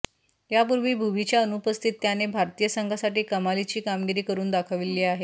यापूर्वी भुवीच्या अनुपस्थित त्याने भारतीय संघासाठी कमालीची कामगिरी करुन दाखवली आहे